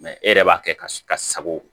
e yɛrɛ b'a kɛ ka sago